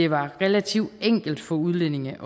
var relativt enkelt for udlændinge